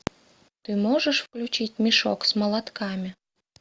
ты можешь включить мешок с молотками